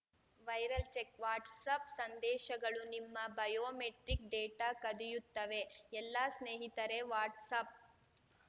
viral check WhatsApp ಸಂದೇಶಗಳು ನಿಮ್ಮ biometric data ಕದಿಯುತ್ತವೆ ಎಲ್ಲಾ ಸ್ನೇಹಿತರೇ ವಾಟ್ಸ್‌ಆ್ಯಪ್‌